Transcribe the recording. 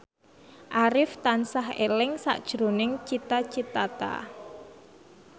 Arif tansah eling sakjroning Cita Citata